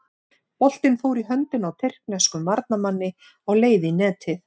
Boltinn fór í höndina á tyrkneskum varnarmanni á leið í netið.